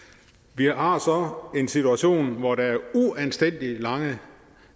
vi har har så en situation hvor der er uanstændigt lange